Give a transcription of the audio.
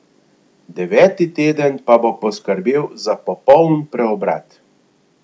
Deveti teden pa bo poskrbel za popoln preobrat!